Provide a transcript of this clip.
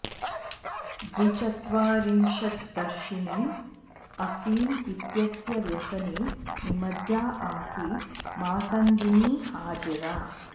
द्विचत्वारिंशद्वर्षाणि अफीम इत्यस्य व्यसने निमज्जा आसीत् मातङ्गिनी हाजरा